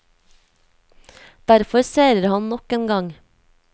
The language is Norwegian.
Derfor seirer han nok en gang.